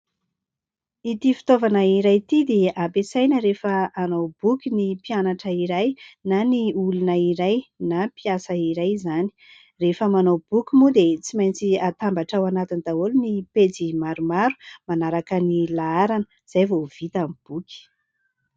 Ity fitaovana iray ity dia ampiasaina rehefa hanao boky ny mpianatra iray na ny olona iray na mpiasa iray izany. Rehefa manao boky moa dia tsy maintsy atambatra ao anatiny daholo ny pejy maromaro manaraka ny laharana izay vao vita ny boky.